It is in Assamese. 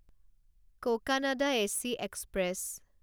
Cocanada AC express